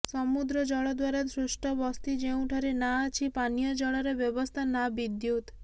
ସମୁଦ୍ର ଜଳ ଦ୍ବାରା ସୃଷ୍ଟ ବସ୍ତି ଯେଉଁଠାରେ ନା ଅଛି ପାନୀୟ ଜଳର ବ୍ୟବସ୍ଥା ନା ବିଦ୍ୟୁତ୍